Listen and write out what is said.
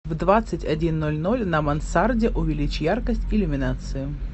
в двадцать один ноль ноль на мансарде увеличь яркость иллюминации